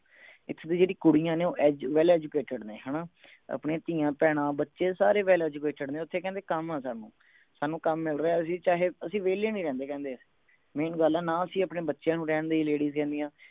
ਇਥੇ ਦੀ ਜਿਹੜੀ ਕੁੜੀਆਂ ਨੇ ਉਹ well educated ਨੇ ਹਣਾ ਆਪਣੀ ਧੀਆਂ ਭੈਣਾਂ ਬੱਚੇ ਸਾਰੇ well educated ਨੇ ਓਥੇ ਕਹਿੰਦੇ ਕੰਮ ਆ ਸਾਨੂ ਸਾਨੂੰ ਕੰਮ ਮਿਲ ਰਿਹੇ ਅਸੀਂ ਚਾਹੇ ਅਸੀਂ ਵਿਹਲੇ ਨਹੀਂ ਰਹਿੰਦੇ ਕਹਿੰਦੇ main ਗੱਲ ਆ ਨਾ ਅਸੀਂ ਆਪਣੇ ਬੱਚਿਆਂ ਨੂੰ ਰਹਿਣ ਦੇਈਏ ladies ਕਹਿੰਦਿਆਂ